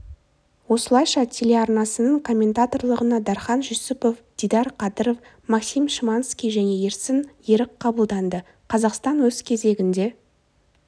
осылайша телеарнасының комментаторлығына дархан жүсіпов дидар қадыров максим шиманский және ерсін ерік қабылданды қазақстан өз кезегінде